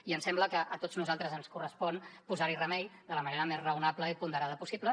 i em sembla que a tots nosaltres ens correspon posar hi remei de la manera més raonable i ponderada possible